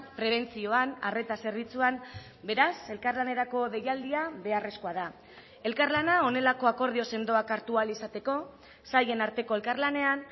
prebentzioan arreta zerbitzuan beraz elkarlanerako deialdia beharrezkoa da elkarlana honelako akordio sendoak hartu ahal izateko sailen arteko elkarlanean